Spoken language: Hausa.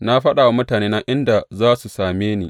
Na faɗa wa mutanena inda za su same ni.